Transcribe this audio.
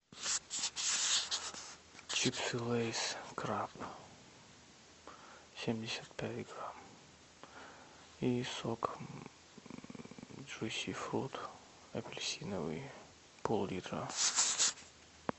чипсы лейс краб семьдесят пять грамм и сок джуси фрут апельсиновый пол литра